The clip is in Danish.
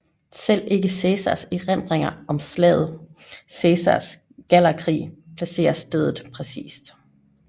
Selv ikke Cæsars erindringer om slaget Cæsars Gallerkrig placerer stedet præcist